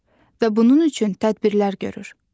Və bunun üçün tədbirlər görür.